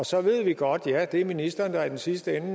så ved vi godt at ja det er ministeren der i den sidste ende